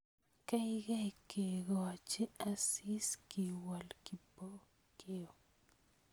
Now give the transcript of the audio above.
Keikei kekocho Asisi, kiwol Kipokeo